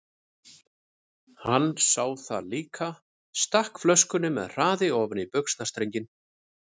Hann sá það líka, stakk flöskunni með hraði ofan í buxnastrenginn.